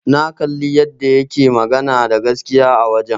Na kalli yadda yake magana da gaskiya a wajen.